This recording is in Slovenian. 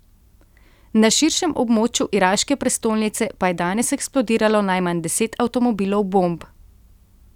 Na širšem območju iraške prestolnice pa je danes eksplodiralo najmanj deset avtomobilov bomb.